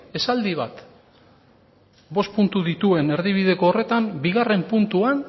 esaldi bat bost puntu dituen erdibideko horretan